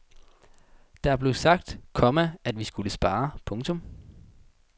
Det blev sagt, komma at vi skulle spare. punktum